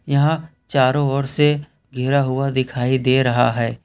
यहां चारों ओर से घिरा हुआ दिखाई दे रहा है।